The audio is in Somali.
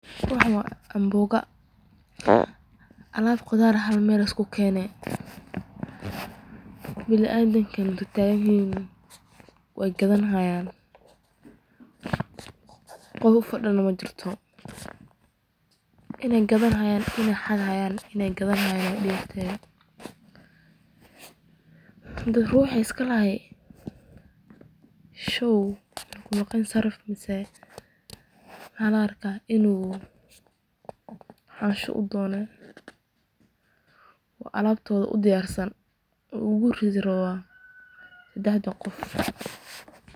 Waxani wa amboga, alab qudar halmel liskukenay, biniadamka na duul tagan yihiin way gadani hayan, gof fado majirto, inay gadani hayaan iyo inay hafhi hayaan ay uegtehe, hadi ruxi iskalahay show wuxu kumaganyehe sarif aya laarka inu donay, wa alabtoda udiyarsan uu oguridi rawaa sadahda gof.